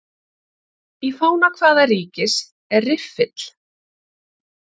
Í fána hvaða ríkis er riffill?